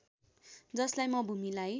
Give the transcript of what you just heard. जसलाई म भूमिलाई